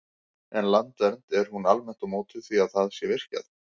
En Landvernd, er hún almennt á móti því að það sé virkjað?